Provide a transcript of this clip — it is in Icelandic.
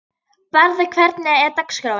Barði, hvernig er dagskráin?